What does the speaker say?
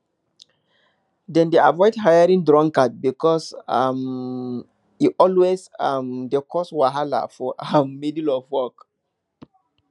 dem dey avoid hiring drunkards because um e always um dey cause wahala for um middle of work